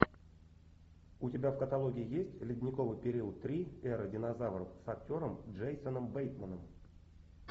у тебя в каталоге есть ледниковый период три эра динозавров с актером джейсоном бейтманом